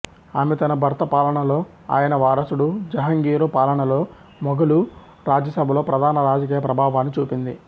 ఆమె తన భర్త పాలనలో ఆయన వారసుడు జహంగీరు పాలనలో మొఘలు రాజసభలో ప్రధాన రాజకీయ ప్రభావాన్ని చూపింది